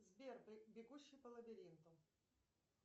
сбер бегущий по лабиринту